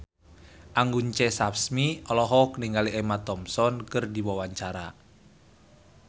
Anggun C. Sasmi olohok ningali Emma Thompson keur diwawancara